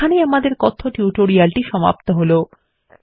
এইখানে আমাদের কথ্য টিউটোরিয়ালটি সমাপ্ত হলো